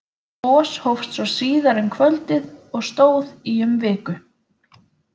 Gos hófst svo síðar um kvöldið og stóð í um viku.